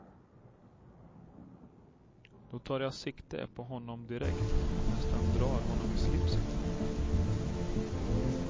Då tar jag sikte på honom direkt och nästan drar honom i slipsen.